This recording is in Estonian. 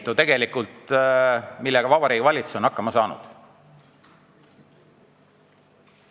See on tegelikult täiesti pretsedenditu, millega Vabariigi Valitsus on hakkama saanud.